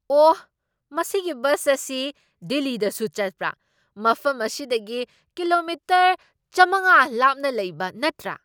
ꯑꯣꯍ! ꯃꯁꯤꯒꯤ ꯕꯁ ꯑꯁꯤ ꯗꯤꯜꯂꯤꯗꯁꯨ ꯆꯠꯄ꯭ꯔꯥ? ꯃꯐꯝ ꯑꯁꯤꯗꯒꯤ ꯀꯤꯂꯣꯃꯤꯇꯔ ꯆꯥꯝꯃꯉꯥ ꯂꯥꯞꯅ ꯂꯩꯕ ꯅꯠꯇ꯭ꯔꯥ?